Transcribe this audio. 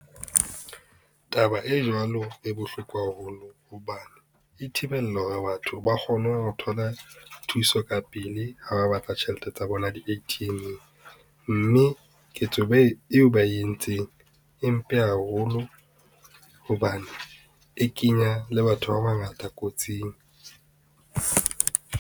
Taba e jwalo e bohloko haholo hobane e thibela hore batho ba kgone ho thola thuso ka pele ha ba batla tjhelete tsa bona di-A_T_M-eng. Mme ketso eo ba e entseng e mpe haholo, hobane e kenya le batho ba bangata kotsing.